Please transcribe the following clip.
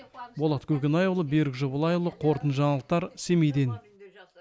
болат көкенайұлы берік жобалайұлы қорытынды жаңалықтар семейден